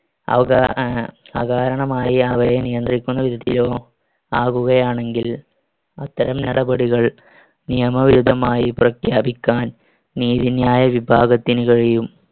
അവകാ~ അഹ് അകാരണമായി അവരെ നിയന്ത്രിക്കുന്നവിധത്തിലോ ആവുകയാണെങ്കിൽ അത്തരം നടപടികൾ നിയമവിരുദ്ധമായി പ്രഖ്യാപിക്കാൻ നീതിന്യായവിഭാഗത്തിന് കഴിയും.